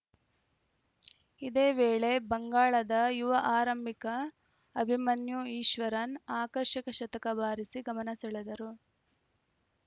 ಇದೇ ವೇಳೆ ಬಂಗಾಳದ ಯುವ ಆರಂಭಿಕ ಅಭಿಮನ್ಯು ಈಶ್ವರನ್‌ ಆಕರ್ಷಕ ಶತಕ ಬಾರಿಸಿ ಗಮನ ಸೆಳೆದರು